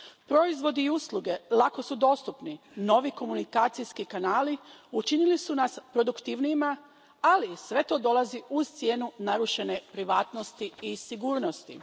Proizvodi i usluge lako su dostupni, novi komunikacijski kanali učinili su nas produktivnijima, ali sve to dolazi uz cijenu narušene privatnosti i sigurnosti.